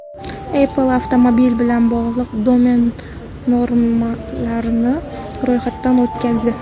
Apple avtomobil bilan bog‘liq domen nomlarini ro‘yxatdan o‘tkazdi.